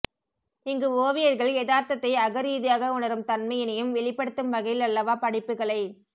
இங்கு ஓவியர்கள் யதார்த்தத்தை அகரீதியாக உணரும் தன்மையினையும் வெளிப்படுத்தும் வகையிலல்லவா படைப்புகளைத்